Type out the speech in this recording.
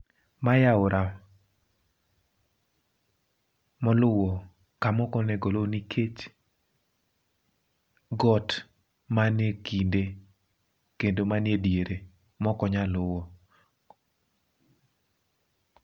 Mae aora moluo kamokonego lu nikech got manekinde kendo mane diere mokonyal luwo.